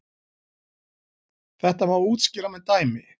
Þetta má útskýra með dæmi.